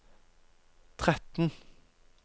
tretten